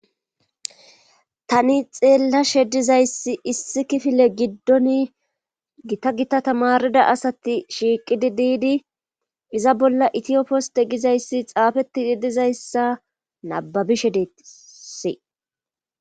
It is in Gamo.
tani xeellashe dizayssi issi kifile giddon gita gita tamarida asati shiiqidi diidi iza bolla itiyoposte gizayssi xaafeti yedizayssa nababishe deetisi